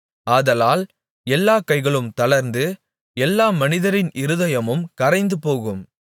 ஆதலால் எல்லாக் கைகளும் தளர்ந்து எல்லா மனிதரின் இருதயமும் கரைந்துபோகும்